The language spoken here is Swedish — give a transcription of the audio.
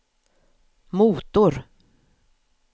motor